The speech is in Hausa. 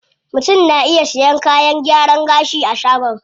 Mutum na iya sayan kayan gyaran gashi a shagon.